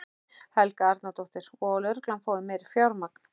Helga Arnardóttir: Og að lögreglan fái meira fjármagn?